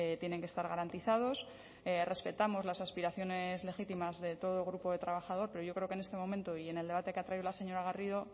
tienen que estar garantizados respetamos las aspiraciones legítimas de todo el grupo de trabajador pero yo creo que en este momento y en el debate que ha traído la señora garrido